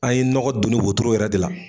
An ye nɔgɔ doni wotoro yɛrɛ de la